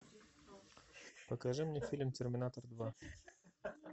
покажи мне фильм терминатор два